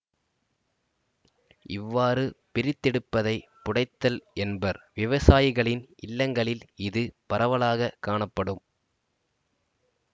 இவ்வாறு பிரித்தெடுப்பதை புடைத்தல் என்பர் விவசாயிகளின் இல்லங்களில் இது பரவலாக காணப்படும்